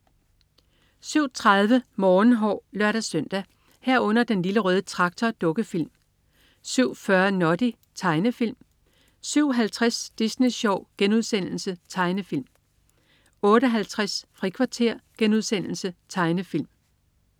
07.30 Morgenhår (lør-søn) 07.30 Den Lille Røde Traktor. Dukkefilm 07.40 Noddy. Tegnefilm 07.50 Disney Sjov.* Tegnefilm * 08.50 Frikvarter.* Tegnefilm